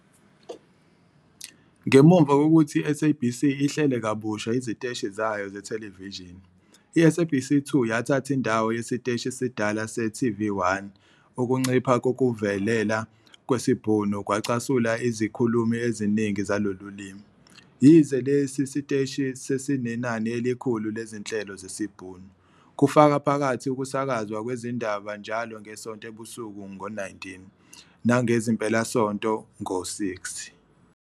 Ngemuva kokuthi iSABC ihlele kabusha iziteshi zayo zethelevishini, iSABC 2 yathatha indawo yesiteshi esidala se-TV1. Ukuncipha kokuvelela kwesiBhunu kwacasula izikhulumi eziningi zalolu limi, yize lesi siteshi sisenenani elikhulu lezinhlelo zesiBhunu, kufaka phakathi ukusakazwa kwezindaba njalo ngesonto ebusuku ngo-19- 00 nangezimpelasonto ngo-18- 00.